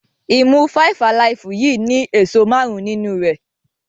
imú five alive yìí ni èso márùn nínú rẹ